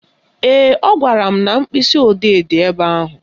Ee, ọ gwara m na mkpịsịodee dị ebe ahụ